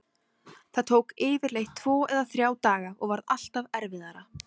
Það tók yfirleitt tvo eða þrjá daga og varð alltaf erfiðara.